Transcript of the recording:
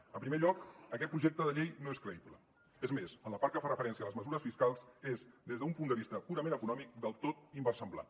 en primer lloc aquest projecte de llei no és creïble és més en la part que fa referència a les mesures fiscals és des d’un punt de vista purament econòmic del tot inversemblant